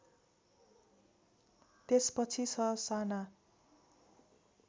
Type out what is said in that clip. त्यसपछि ससाना